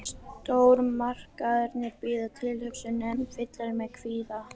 Stórmarkaðirnir bíða, tilhugsunin ein fyllir mig kvíða.